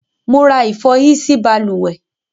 Mo ra ìfọhí sí balùwẹ́